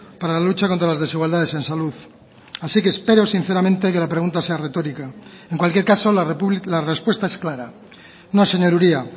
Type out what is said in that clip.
para la lucha contra las desigualdades en salud así que espero sinceramente que la pregunta sea retórica en cualquier caso la respuesta es clara no señor uria